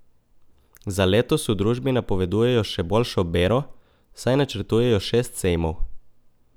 Za letos v družbi napovedujejo še boljšo bero, saj načrtujejo šest sejmov.